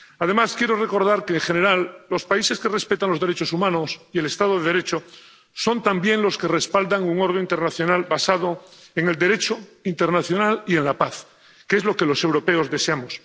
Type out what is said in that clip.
Además, quiero recordar que, en general, los países que respetan los derechos humanos y el Estado de Derecho son también los que respaldan un orden internacional basado en el Derecho internacional y en la paz, que es lo que los europeos deseamos.